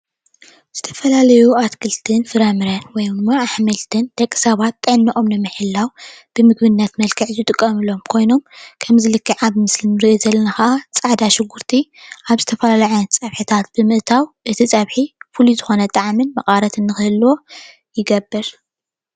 ዝተፈላለዩ ኣትክልትን ፍራምረን ወይ ድማ ኣሕምልትን ደቂ ሰባት ጥዕነኦም ንምሕላው ከም ምግብነት ዝጥቀምሎም ኮይኖም ከምዚ ልክዕ ኣብ ምስሊ እንሪኦ ዘለና ከዓ ፃዕዳ ሽጉርቲ ኣብ ዝተፈላለዩ ዓይነት ፀብሕታት ብምእታው እቲ ፀብሒ ፍሉይ ዝኮነ ጣዕሚን መቀረትን ንክህልዎ ይገብር፡፡